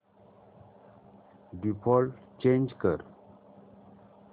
default change कर